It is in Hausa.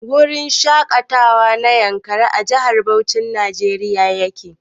Gurin shaƙatawa na Yankari a Jihar Bauchin Nigeria yake.